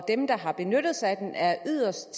dem der har benyttet sig af den er yderst